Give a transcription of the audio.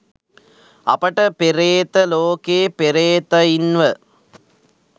අපට පෙරේත ලෝකේ පෙරේතයින්ව